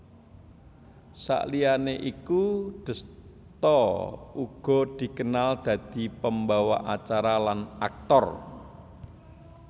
Saliyané iku Desta uga dikenal dadi pembawa acara lan aktor